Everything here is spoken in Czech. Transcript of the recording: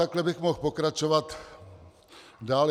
Takhle bych mohl pokračovat dále.